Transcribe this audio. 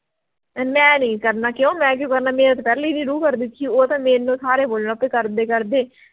ਮੈਂ ਨੀ ਕਰਨਾ ਕਿਉਂ ਮੈਂ ਕਿਉਂ ਕਰਨਾ ਮੇਰੀ ਤਾਂ ਪਹਿਲੀਂ ਹੀ ਨੀ ਰੂਹ ਕਰਦੀ ਉਹ ਤਾਂ ਮੈਂਨੂੰ ਸਾਰੇ ਬੋਲਣ ਲੱਗ ਪਏ ਕਿ ਕਰਦੇ ਕਰਦੇ